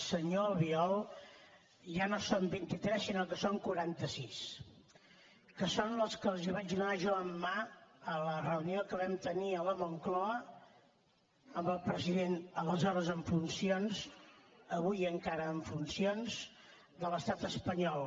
senyor albiol ja no en són vint i tres sinó que en són quaranta sis que són els que els hi vaig donar jo en mà a la reunió que vam tenir a la moncloa amb el president aleshores en funcions avui encara en funcions de l’estat espanyol